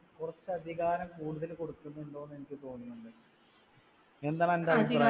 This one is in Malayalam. കുറച്ചധികാരം കൂടുതൽ കൊടുക്കുന്നുണ്ടോന്ന് എനിക്ക് തോന്നുന്നുണ്ട്. എന്താണന്റെ അഭിപ്രായം